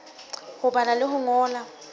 ho bala le ho ngola